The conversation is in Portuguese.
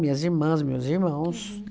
Minhas irmãs, meus irmãos.